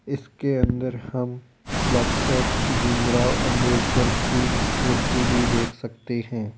इसके अंदर हम डॉक्टर भीमराव अंबेडकर की मूर्ति भी देख सकते हैं।